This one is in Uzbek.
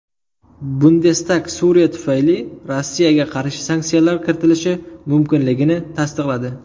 Bundestag Suriya tufayli Rossiyaga qarshi sanksiyalar kiritilishi mumkinligini tasdiqladi.